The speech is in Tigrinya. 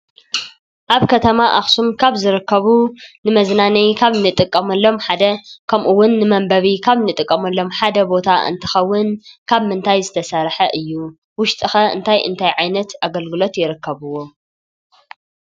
ኣብ ከተማ ኣኽሱም ካብ ዝርከቡ ንመዝናነዪ ካብ እንጥቀመሎም ሓደ ከምኡ ውን ንመንበቢ ካብ እንጥቀመሎም ሓደ ቦታ እንትኸውን ካብ ምንታይ ዝተሰርሐ እዩ? ውሽጡ ኸ እንታይ እንታይ ዓይነት ኣገልግሎት ይርከብዎም?